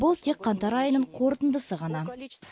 бұл тек қаңтар айының қорытындысы ғана